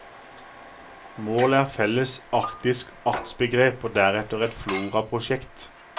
Målet er felles arktisk artsbegrep og deretter et floraprosjekt.